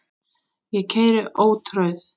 Ég keyri ótrauð